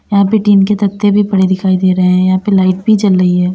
यहां पे टीन के तख्ते भी पड़े दिखाई दे रहे हैं यहां पे लाइट भी जल रही है।